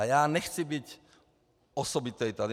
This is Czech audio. A já nechci být osobitý tady.